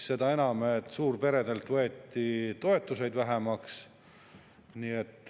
Seda enam, et suurperedelt võeti toetusi vähemaks.